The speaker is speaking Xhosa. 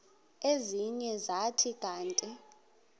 ezinye zathi kanti